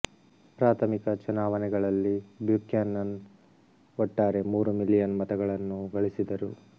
ಪ್ರಾಥಮಿಕ ಚುನಾವಣೆಗಳಲ್ಲಿ ಬ್ಯೂಕ್ಯಾನನ್ ಒಟ್ಟಾರೆ ಮೂರು ಮಿಲಿಯನ್ ಮತಗಳನ್ನು ಗಳಿಸಿದರು